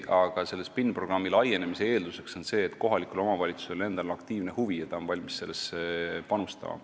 Aga selle SPIN-programmi laienemise eelduseks on see, et kohalikul omavalitsusel endal on aktiivne huvi ja ta on valmis sellesse panustama.